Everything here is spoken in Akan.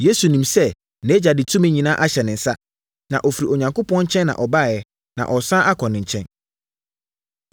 Yesu nim sɛ nʼAgya de tumi nyinaa ahyɛ ne nsa, na ɔfiri Onyankopɔn nkyɛn na ɔbaeɛ, na ɔresane akɔ ne nkyɛn.